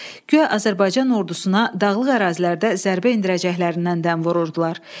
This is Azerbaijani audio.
guya Azərbaycan Ordusuna Dağlıq ərazilərdə zərbə endirəcəklərindən dəm vururdular.